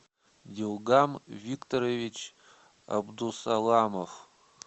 юлгам викторович абдусаламов